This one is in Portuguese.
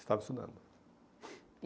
Estavam estudando.